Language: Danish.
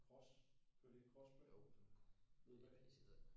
Cross kører de ikke crossbane nede bagi